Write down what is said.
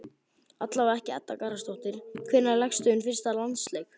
Allavega ekki Edda Garðarsdóttir Hvenær lékstu þinn fyrsta landsleik?